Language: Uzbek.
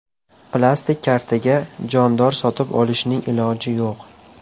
Plastik kartaga jondor sotib olishning iloji yo‘q.